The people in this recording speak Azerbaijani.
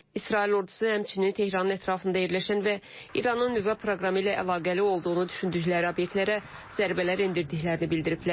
İsrail ordusu həmçinin Tehran ətrafında yerləşən və İranın nüvə proqramı ilə əlaqəli olduğunu düşündükləri obyektlərə zərbələr endirdiklərini bildiriblər.